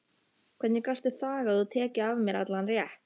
Hvernig gastu þagað og tekið af mér allan rétt?